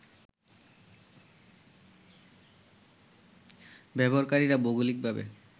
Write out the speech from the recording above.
ব্যবহারকারীরা ভৌগলিকভাবে